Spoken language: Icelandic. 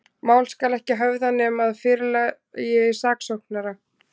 Mál skal ekki höfða, nema að fyrirlagi saksóknara.